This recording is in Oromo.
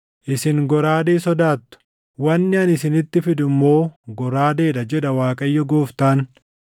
Isin goraadee sodaattu; wanni ani isinitti fidu immoo goraadeedha, jedha Waaqayyo Gooftaan.